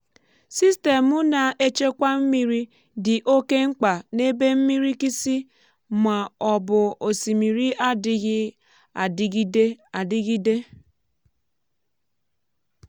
sistemụ na-echekwa mmiri dị oke mkpa n’ebe mmirikisi ma ọ bụ osimiri adịghị adịgide adịgide.